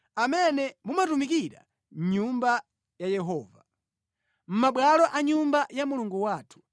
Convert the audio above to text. amene mumatumikira mʼnyumba ya Yehova, mʼmabwalo a nyumba ya Mulungu wathu.